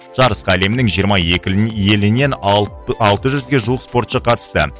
жарысқа әлемнің жиырма екі елінен алты жүзге жуық спортшы қатысты